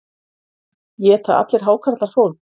Éta allir hákarlar fólk?